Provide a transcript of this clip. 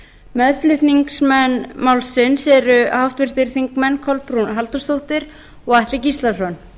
meðflutningsmenn málsins eru háttvirtir þingmenn kolbrún halldórsdóttir og atli gíslason